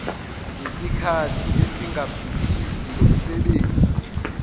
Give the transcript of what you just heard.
ngesikhathi esingaphithizi lomsebenzi